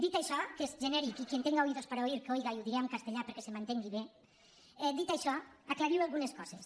dit això que és genèric i quien tenga oídos para oír que oiga i ho dic en castellà perquè se m’entengui bé aclarir algunes coses